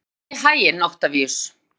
Gangi þér allt í haginn, Oktavíus.